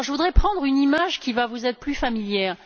Je voudrais prendre une image, qui va vous être plus familière.